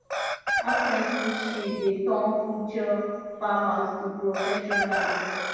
apprenticeship dey turn future farmers to professionals